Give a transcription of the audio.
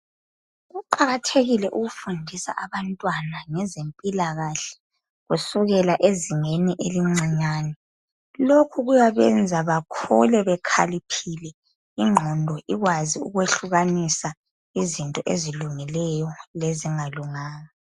Kuqakathekile ukufundisa abantwana ngezempilakahle kusukela ezingeni elincinyane lokhu kuyabenza bakhule bekhaliphile ingqondo ikwazi ukwehlukanisa izinto ezilungileyo lezingalunganga.